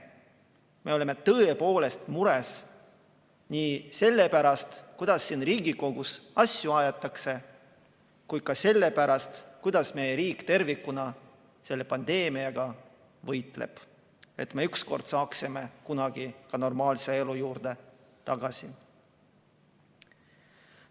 Me oleme tõepoolest mures nii selle pärast, kuidas siin Riigikogus asju aetakse, kui ka selle pärast, kuidas meie riik tervikuna selle pandeemiaga võitleb, et me ükskord saaksime ka normaalse elu juurde tagasi.